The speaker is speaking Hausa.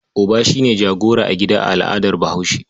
Uba shi ne jagora a gida a al'adar Bahaushe.